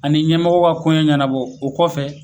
Ani ɲɛmɔgɔ ka ko ɲɛ ɲɛnabɔ o kɔfɛ